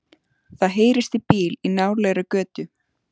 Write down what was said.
Það heyrist í bíl í nálægri götu.